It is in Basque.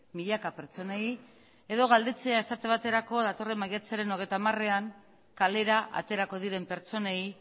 milaka pertsonei edo galdetzea esate baterako datorren maiatzaren hogeita hamarean kalera aterako diren pertsonei